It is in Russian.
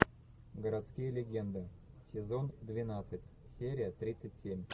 городские легенды сезон двенадцать серия тридцать семь